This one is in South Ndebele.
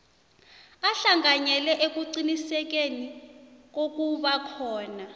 ahlanganyele ekuqinisekiseni kokubakhona